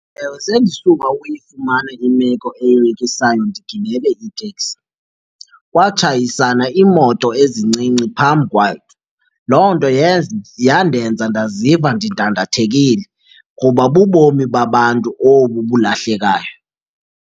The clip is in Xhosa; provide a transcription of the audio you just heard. Ewe, sendisuka ukuyifumana imeko eyoyikisayo ndigibele iteksi. Kwatshayisana iimoto ezincinci phambi kwakhe, loo nto yandenza ndaziva ndidandathekile kuba bubomi babantu obu bulahlekayo.